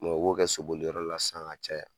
u bo kɛ soboli yɔrɔ la sisan ka caya.